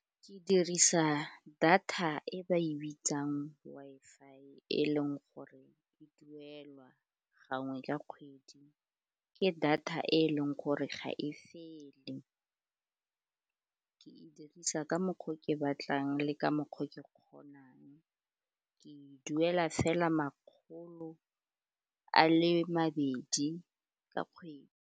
Ke dirisa data e ba e bitsang Wi-Fi e leng gore e duelwa gangwe ka kgwedi ke data e leng gore ga e fele ke dirisa ka mokgwa o ke batlang le ka mokgwa ke kgonang ke e duela fela makgolo a le mabedi ka kgwedi.